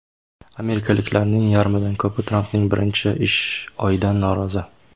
Amerikaliklarning yarmidan ko‘pi Trampning birinchi ish oyidan norozi.